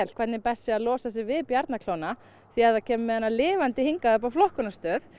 hvernig best sé að losa sig við því ef það kemur með hana lifandi hingað upp á flokkunarstöð